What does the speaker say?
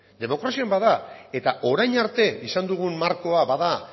demokrazian bada eta orain arte izan dugun markoa bada